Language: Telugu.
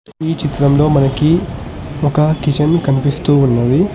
ఈ చిత్రంలో మనకి ఒక కిచన్ కనిపిస్తూ ఉన్నది.